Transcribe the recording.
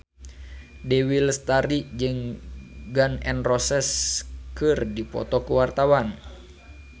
Dewi Lestari jeung Gun N Roses keur dipoto ku wartawan